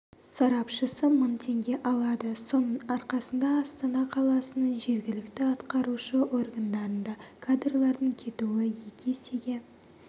сарапшысы мың теңге алады соның арқасында астана қаласының жергілікті атқарушы органдарында кадрлардың кетуі екі есеге